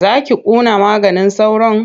Za ki kunna maganin sauron?